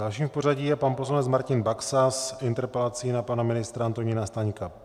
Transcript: Dalším v pořadí je pan poslanec Martin Baxa s interpelací na pana ministra Antonína Staňka.